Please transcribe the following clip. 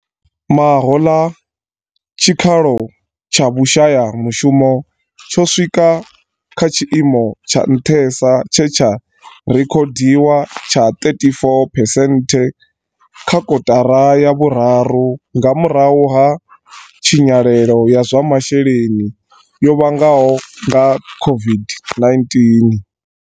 Mahoḽa, tshikalo tsha vhu shayamushumo tsho swika kha tshi imo tsha nṱhesa tshe tsha rekhodiwa tsha 34 phesenthe kha kotara ya vhuraru nga murahu ha tshinyalelo ya zwa masheleni yo vhangwaho nga COVID-19.